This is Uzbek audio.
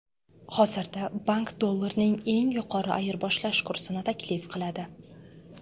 Hozirda bank dollarning eng yuqori ayirboshlash kursini taklif qiladi.